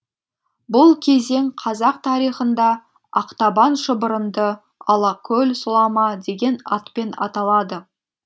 бұл кезең қазақ тарихында ақтабан шұбырынды алакөл сұлама деген атпен аталады